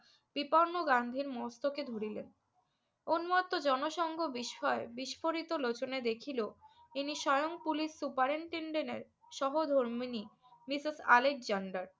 বিপন্ন গান্ধীর মস্তকে ধরিলেন। উন্মত্ত জনসংঘ বিস্ময় বিস্ফোরিত লোচনে দেখিল, ইনি স্বয়ং কুলি superintendent এর সহধর্মিনী মিসেস আলেকজেন্ডার।